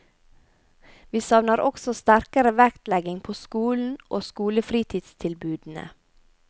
Vi savner også sterkere vektlegging på skolen og skolefritidstilbudene.